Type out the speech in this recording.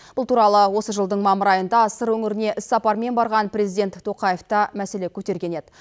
бұл туралы осы жылдың мамыр айында сыр өңіріне іс сапармен барған президент тоқаев та мәселе көтерген еді